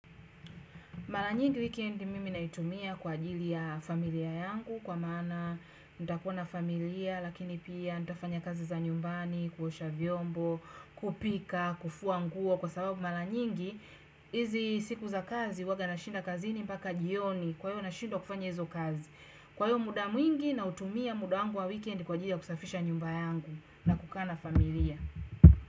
Mara nyingi weekend mimi naitumia kwa ajili ya familia yangu kwa maana nitakuona familia lakini pia nitafanya kazi za nyumbani, kuosha vyombo, kupika, kufua nguo kwa sababu mara nyingi, hizi siku za kazi huwaga nashinda kazi ni mpaka jioni kwa hiyo nashindwa kufanya hizo kazi. Kwa hiyo muda mwingi nautumia muda wangu wa weekend kwa ajili ya kusafisha nyumba yangu na kukaa na familia.